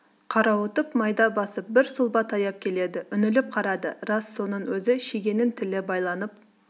қарауытып майда басып бір сұлба таяп келеді үңіліп қарады рас соның өзі шегенің тілі байланып